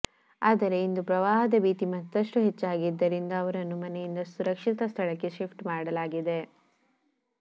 ಆದರೆ ಇಂದು ಪ್ರವಾಹದ ಭೀತಿ ಮತ್ತಷ್ಟು ಹೆಚ್ಚಾಗಿದ್ದರಿಂದ ಅವರನ್ನ ಮನೆಯಿಂದ ಸುರಕ್ಷಿತ ಸ್ಥಳಕ್ಕೆ ಶಿಫ್ಟ್ ಮಾಡಲಾಗಿದೆ